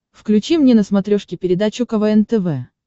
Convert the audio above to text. включи мне на смотрешке передачу квн тв